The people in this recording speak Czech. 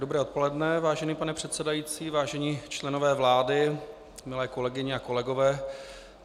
Dobré odpoledne, vážený pane předsedající, vážení členové vlády, milé kolegyně a kolegové.